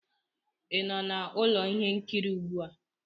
ị nọ na ụlọ ihe nkiri ugbu a?